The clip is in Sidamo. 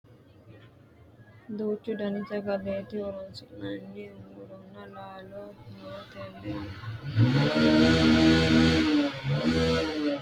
Duuchu dani sagalete horonsi'nanni muronna laallo no tene mite basera loonse ikkikkini babbaxxitino basera loonse gamba assine hire corre abbinonite.